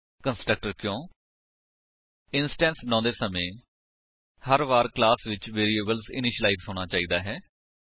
constructor ਕਿਉਂ160 instance ਬਣਾਉਂਦੇ ਸਮੇ ਹਰਵਾਰ ਕਲਾਸ ਵਿੱਚ ਵੇਰਿਏਬਲਸ ਇਨਿਸ਼ੀਲਾਇਜ ਹੋਣਾ ਚਾਹੀਦਾ ਹੈ